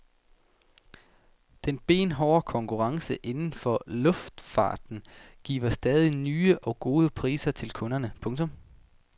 Den benhårde konkurrence inden for luftfarten giver stadig nye og gode priser til kunderne. punktum